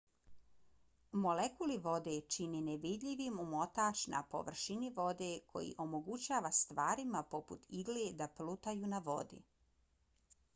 molekuli vode čine nevidljivi omotač na površini vode koji omogućava stvarima poput igle da plutaju na vodi